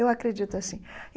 Eu acredito assim.